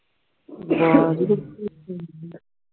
ਆਵਾਜ਼ ਇਕੋ ਇੱਕੋ ਆਉਂਦੀ ਹੈ